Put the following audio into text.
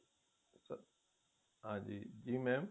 ਹਾਂਜੀ ਜੀ mam